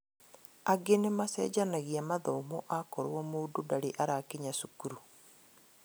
Angĩ nĩmachenjanagia mathomo akorwo mũndũ ndarĩ arakinya cukuru